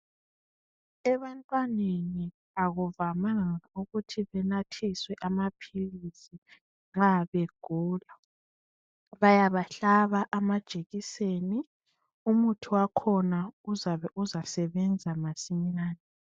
Ebantwaneni akuvamanga ukuthi benathiswe amaphilisi nxa begula bayabahlaba amajekiseni umuthi wakhona uzabe uzasebenza masinyane.